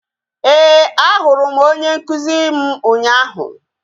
Ee, a hụrụ m onye nkụzi m ụnyaahụ